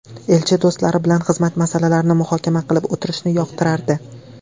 Elchi do‘stlari bilan xizmat masalalarini muhokama qilib o‘tirishni yoqtirardi.